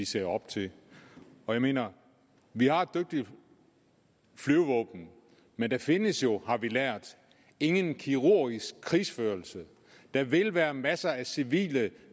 ser op til jeg mener vi har et dygtigt flyvevåben men der findes jo har vi lært ingen kirurgisk krigsførelse der vil være masser af civile